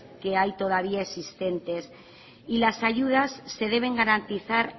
que hay todavía existentes y las ayudas se deben garantizar